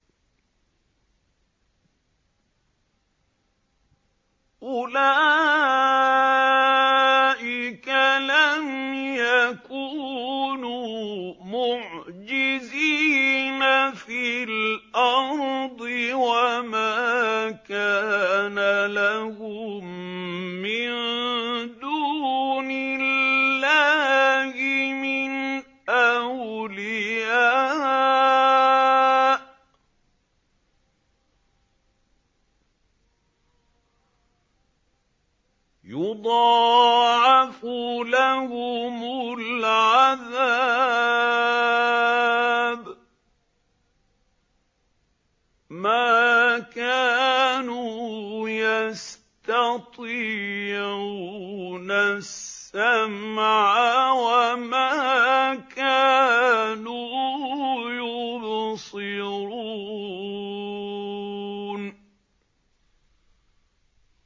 أُولَٰئِكَ لَمْ يَكُونُوا مُعْجِزِينَ فِي الْأَرْضِ وَمَا كَانَ لَهُم مِّن دُونِ اللَّهِ مِنْ أَوْلِيَاءَ ۘ يُضَاعَفُ لَهُمُ الْعَذَابُ ۚ مَا كَانُوا يَسْتَطِيعُونَ السَّمْعَ وَمَا كَانُوا يُبْصِرُونَ